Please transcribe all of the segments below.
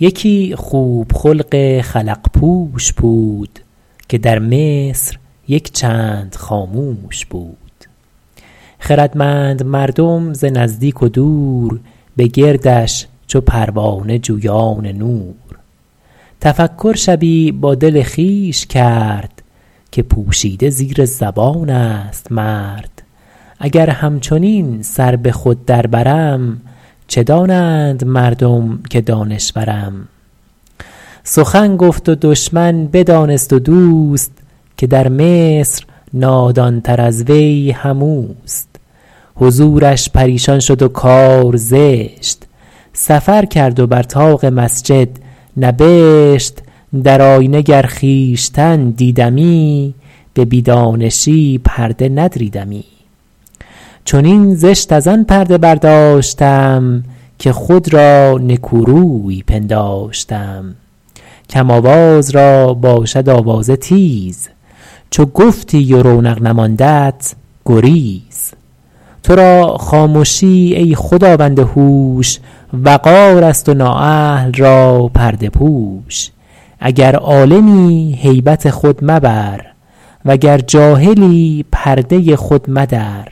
یکی خوب خلق خلق پوش بود که در مصر یک چند خاموش بود خردمند مردم ز نزدیک و دور به گردش چو پروانه جویان نور تفکر شبی با دل خویش کرد که پوشیده زیر زبان است مرد اگر همچنین سر به خود در برم چه دانند مردم که دانشورم سخن گفت و دشمن بدانست و دوست که در مصر نادان تر از وی هم اوست حضورش پریشان شد و کار زشت سفر کرد و بر طاق مسجد نبشت در آیینه گر خویشتن دیدمی به بی دانشی پرده ندریدمی چنین زشت از آن پرده برداشتم که خود را نکو روی پنداشتم کم آواز را باشد آوازه تیز چو گفتی و رونق نماندت گریز تو را خامشی ای خداوند هوش وقار است و نا اهل را پرده پوش اگر عالمی هیبت خود مبر وگر جاهلی پرده خود مدر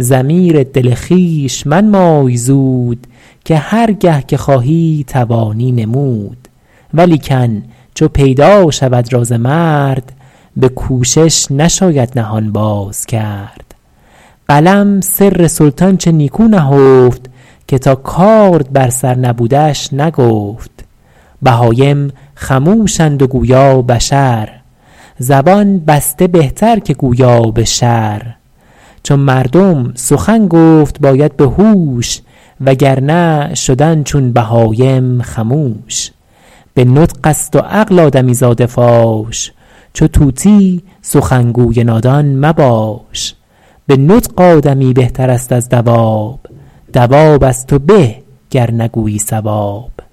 ضمیر دل خویش منمای زود که هر گه که خواهی توانی نمود ولیکن چو پیدا شود راز مرد به کوشش نشاید نهان باز کرد قلم سر سلطان چه نیکو نهفت که تا کارد بر سر نبودش نگفت بهایم خموشند و گویا بشر زبان بسته بهتر که گویا به شر چو مردم سخن گفت باید به هوش و گر نه شدن چون بهایم خموش به نطق است و عقل آدمی زاده فاش چو طوطی سخنگوی نادان مباش به نطق آدمی بهتر است از دواب دواب از تو به گر نگویی صواب